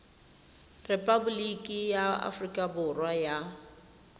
repaboliki ya aforika borwa ya